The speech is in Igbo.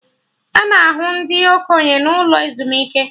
Ana ahụ ndị okenye n'ụlọ ezumike